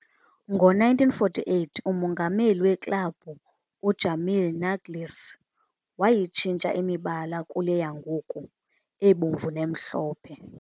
Ngo-1948, umongameli weklabhu, u-Jamil Naglis, wayitshintsha imibala kule yangoku, ebomvu nemhlophe.